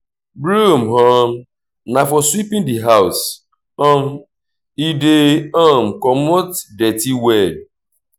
broom um na for sweeping di house um e dey um comot dirty well